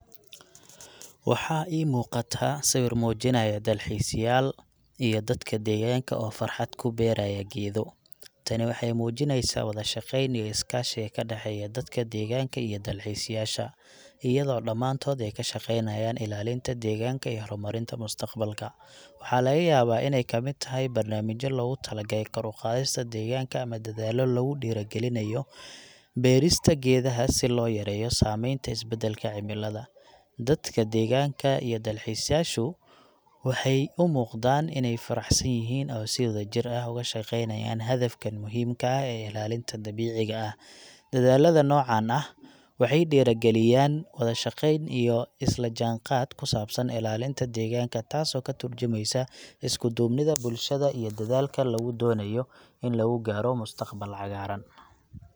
Waxaa ii muuqata sawir muujinaya dalxiisyaal iyo dadka deegaanka oo farxad ku beeraya geedo. Tani waxay muujinaysaa wada shaqeyn iyo is-kaashiga ka dhexeeya dadka deegaanka iyo dalxiisayaasha, iyadoo dhammaantood ay ka shaqeynayaan ilaalinta deegaanka iyo horumarinta mustaqbalka. Waxaa laga yaabaa inay ka mid tahay barnaamijyo loogu talagalay kor u qaadista deegaanka ama dadaallo lagu dardargelinayo beerista geedaha si loo yareeyo saameynta isbeddelka cimilada. Dadka deegaanka iyo dalxiisayaashu waxay u muuqdaan inay faraxsan yihiin oo si wadajir ah uga shaqeynayaan hadafkan muhiimka ah ee ilaalinta dabiiciga ah. Dadaallada noocan ah waxay dhiirrigelinayaan wada shaqeyn iyo isla jaanqaad ku saabsan ilaalinta deegaanka, taasoo ka tarjumaysa isku duubnida bulshada iyo dadaalka lagu doonayo in lagu gaaro mustaqbal cagaaran.